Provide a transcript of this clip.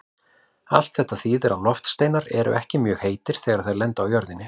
Allt þetta þýðir að loftsteinar eru ekki mjög heitir þegar þeir lenda á jörðinni.